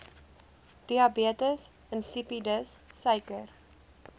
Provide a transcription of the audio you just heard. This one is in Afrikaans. diabetes insipidus suiker